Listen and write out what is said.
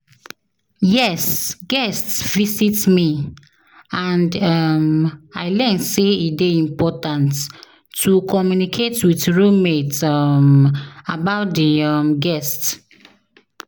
Yes, guest visit me, and um i learn say e dey important to communicate with roommate um about di um guest.